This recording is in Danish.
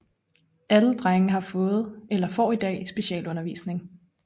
Alle 25 drenge har fået eller får i dag specialundervisning